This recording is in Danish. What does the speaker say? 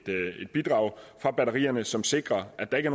bidrag fra batterierne som sikrer at der ikke